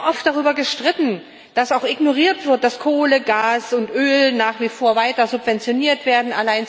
Wir haben oft darüber gestritten, dass auch ignoriert wird, dass Kohle, Gas und Öl nach wie vor weiter subventioniert werden.